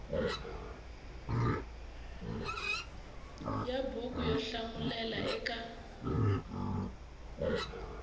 ya buku yo hlamulela eka